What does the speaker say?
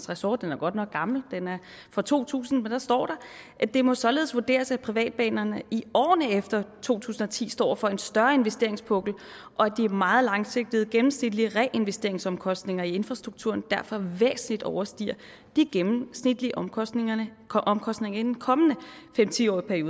ressort den er godt nok gammel den er fra to tusind hvor der står det må således vurderes at privatbanerne i årene efter to tusind og ti står over for en større investeringspukkel og at de meget langsigtede gennemsnitlige reinvesteringsomkostninger i infrastrukturen derfor væsentligt overstiger de gennemsnitlige omkostninger omkostninger i den kommende fem ti årige